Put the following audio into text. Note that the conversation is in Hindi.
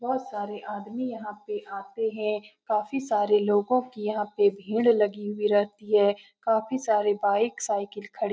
बोहोत सारे आदमी यहाँ पे आते हैं। काफी सारे लोगो की यहाँ पे भीड़ लगी हुई रहती है। काफी सारे बाइक साइकिल खड़े --